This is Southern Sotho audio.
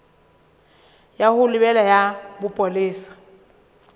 ya ho lebela ya bopolesa